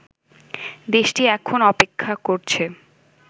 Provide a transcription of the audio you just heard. দেশটি এখন অপেক্ষা করছে